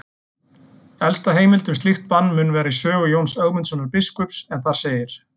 Elsta heimild um slíkt bann mun vera í sögu Jóns Ögmundssonar biskups en þar segir: